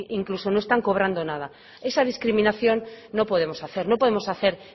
incluso no están cobrando nada esa discriminación no podemos hacer no podemos hacer